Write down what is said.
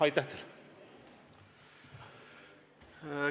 Aitäh teile!